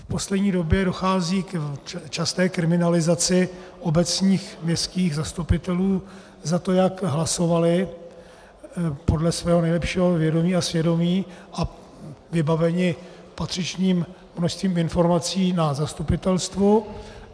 V poslední době dochází k časté kriminalizaci obecních, městských zastupitelů za to, jak hlasovali podle svého nejlepšího vědomí a svědomí a vybaveni patřičným množstvím informací na zastupitelstvu.